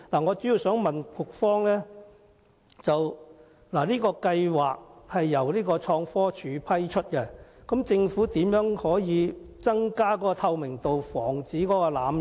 我主要想問局方，計劃由創科署批出配額，政府如何可以增加透明度，防止濫用？